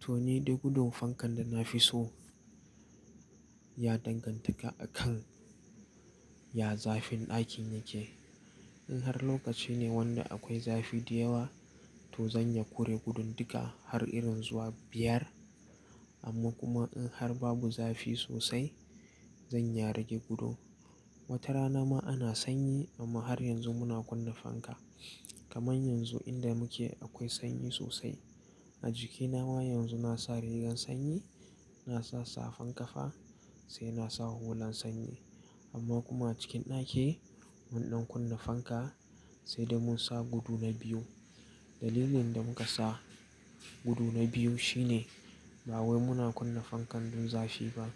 To ni dai gudun fankan da na fi so ya danganta ga a kan ya zafin ɗakin yake. In har lokaci ne wanda akwai zafi da yawa, to zan iya kure gudun duka har irin zuwa biyar. Amma kuma in har babu zafi sosai zan iya rage gudu. Wata rana ma ana sanyi amma har yanzu muna kunna fanka. Kaman yanzu inda muke akwai sanyi sosai. A jikina ma yanzu na sa rigan sanyi, na sa safan kafa sai na sa hulan sanyi. Amma kuma a cikin ɗaki mun ɗan kunna fanka sai dai mun sa gudu na biyu. Dalilin da muka sa gudu na biyu shine ba wai muna kunna fankan dun zafi ba.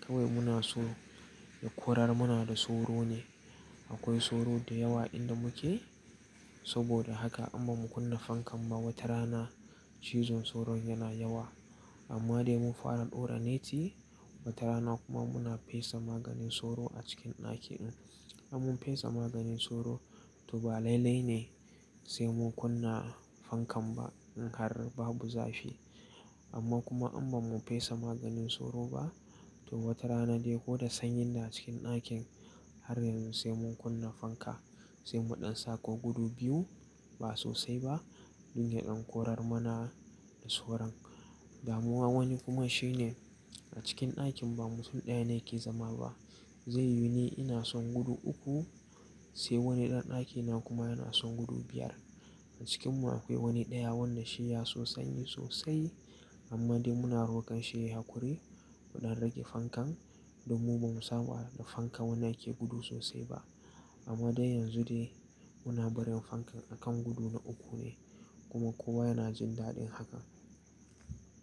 Kai wai muna so ya korar mana da soro ne. Akwai soro da yawa inda muke saboda haka amma mu kunna fankan ba wata rana cizon soron yana yawa. Amma dai mun fara dora neti wata rana kuma muna fesa maganin soro a cikin ɗaki din. In mun fesa maganin soro to ba lailai ne sai mun kunna fankan ba in har babu zafi. Amma kuma in ba mu fesa maganin soro ba to wata rana dai ko da sanyin ne a cikin ɗakin har yanzu sai mun kunna fanka sai mu ɗan sako gudu biyu ba sosai ba dun yadan korar mana da soron. Damuwa wani kuma shine a cikin ɗakin ba mutum ɗaya ne ke zama ba. Zai yone ina son gudu uku sai wani ɗan ɗakina kuma yana son gudu biyar. A cikin mu akwai wani ɗaya wanda shi ya so sanyi sosai amma dai muna rokar shi ya hakure muɗan rage fankan domin ba mu samu a da fanka wanda yake gudu sosai ba. Amma dai yanzu dai muna barin fankan a kan gudu na uku ne kuma kowa yana jin daɗin hakan.